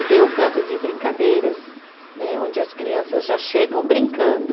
E tem o canto de brincadeiras né, onde as crianças já chegam brincando.